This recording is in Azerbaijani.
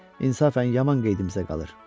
İnsafən yaman qeydimizə qalır.